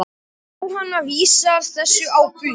Jóhanna vísar þessu á bug.